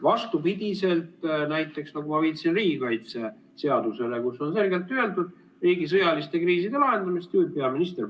Vastupidiselt näiteks, nagu ma viitasin, riigikaitseseadusele, kus on selgelt öeldud: riigi sõjaliste kriiside lahendamist juhib peaminister.